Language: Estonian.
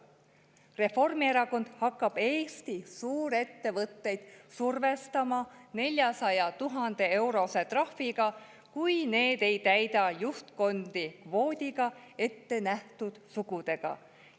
Reformierakond hakkab Eesti suurettevõtteid survestama 400 000-eurose trahviga, kui need ei täida juhtkondi kvoodi alusel ette nähtud sugudega.